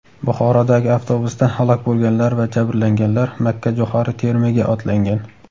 Buxorodagi avtobusda halok bo‘lganlar va jabrlanganlar makkajo‘xori terimiga otlangan.